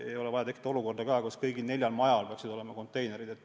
Ei ole vaja tekitada olukorda, kus kõigil neljal majal peaksid olema eraldi konteinerid.